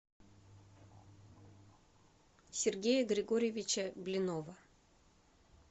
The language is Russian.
сергея григорьевича блинова